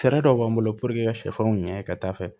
Fɛɛrɛ dɔw b'an bolo ka sɛfɛnw ɲɛ ka dafɛ